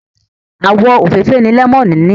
Àwọ̀ òfeefee ni lẹ́mọ́nù ní.